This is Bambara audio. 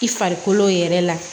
I farikolo yɛrɛ la